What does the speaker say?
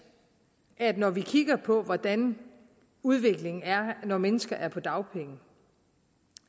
at når vi kigger på hvordan udviklingen er når mennesker er på dagpenge